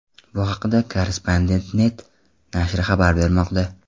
Bu haqda Korrespondent.net nashri xabar bermoqda .